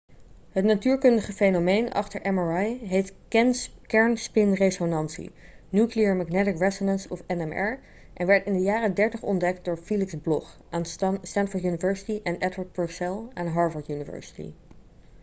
het natuurkundige fenomeen achter mri heet kernspinresonantie nuclear magnetic resonance of nmr en werd in de jaren '30 ontdekt door felix bloch aan stanford university en edward purcell aan harvard university